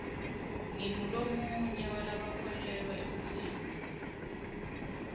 ngingulomunye walabakholwelwa ekutseni